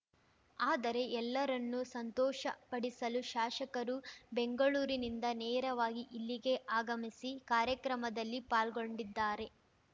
ಆದರೆ ಎಲ್ಲರನ್ನೂ ಸಂತೋಷ ಪಡಿಸಲು ಶಾಸಕರು ಬೆಂಗಳೂರಿನಿಂದ ನೇರವಾಗಿ ಇಲ್ಲಿಗೆ ಆಗಮಿಸಿ ಕಾರ್ಯಕ್ರಮದಲ್ಲಿ ಪಾಲ್ಗೊಂಡಿದ್ದಾರೆ